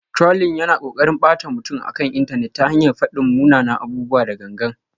Trolling yana ƙoƙarin ɓata mutum akan intanet ta hanyar faɗin munanan abubuwa da gangan.